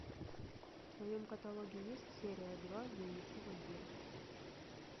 в твоем каталоге есть серия два дневники вампира